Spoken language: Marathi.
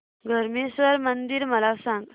धरमेश्वर मंदिर मला सांग